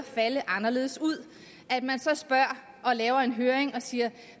falde anderledes ud så spørger og laver en høring og siger